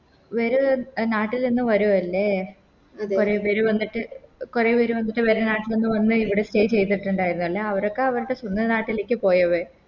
വേരെ നാട്ടിൽ നിന്ന് വരുവല്ലേ കൊറേ പേര് വന്നിട്ട് കൊറേ പേര് വന്നിട്ട് വേരെ നാട്ടിൽ നിന്ന് വന്ന് ഇവിടെ Stay ചെയ്തിട്ട്ണ്ടായിരുന്നല്ലേ അവരൊക്കെ അവരുടെ സ്വന്തം നാട്ടിലേക്ക് പോയവെ